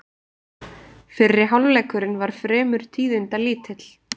Fyrri hálfleikurinn var fremur tíðindalítill